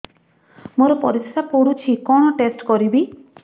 ମୋର ପରିସ୍ରା ପୋଡୁଛି କଣ ଟେଷ୍ଟ କରିବି